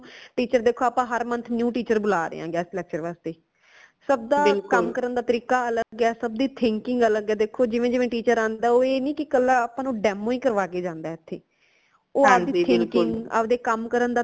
teacher ਦੇਖੋ ਆਪਾ ਹਰ month new teacher ਬੁਲਾ ਰਏ ਹਾਂ guest lecture ਵਾਸਤੇ ਸਬਦਾ ਕਮ ਕਰਨ ਦਾ ਤਰੀਕਾ ਅਲਗ ਹੈ ਸਬ ਦੀ thinking ਅਲਗ ਹੈ ਦੇਖੋ ਜਿਵੇ ਜਿਵੇ teacher ਆਂਦਾ ਹੈ ਓ ਐ ਨੀ ਕਿ ਕਲਾ ਆਪਾ ਨੂ demo ਹੀ ਕਰਵਾ ਕੇ ਜਾਂਦਾ ਹੈ ਏਥੇ ਓ ਆਪ ਦੀ thinking ਆਪ ਦੇ ਕਮ ਕਰਨ ਦਾ ਤਰੀਕਾ